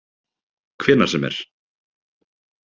Hvenær sem er.